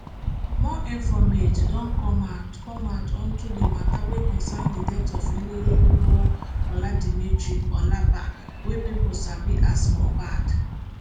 more informate don come out come out unto di matta wey concern di death of ilerioluwa oladimeji aloba wey pipo sabi as mohbad